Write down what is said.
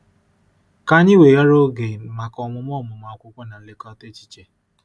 Ka anyị weghara oge maka ọmụmụ ọmụmụ akwụkwọ na nlekọta echiche.